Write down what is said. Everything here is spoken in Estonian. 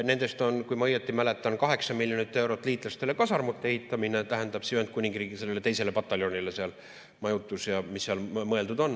Nendest on, kui ma õigesti mäletan, 8 miljonit eurot liitlastele kasarmute ehitamiseks, tähendab, sellele Ühendkuningriigi teisele pataljonile seal, majutus ja mis seal mõeldud on.